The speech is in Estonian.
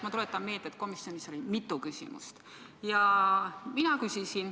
Ma tuletan meelde, et komisjonis oli mitu küsimust.